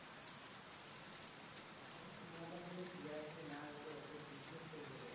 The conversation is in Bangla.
ভয় না দেখালে TRP না হলে, ওদের business চলবে কথা থেকে?